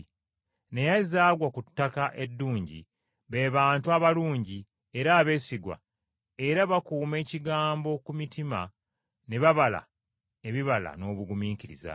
Naye ezaagwa ku ttaka eddungi be bantu abalungi era abeesigwa, era bakuuma ekigambo ku mitima ne babala ebibala n’obugumiikiriza.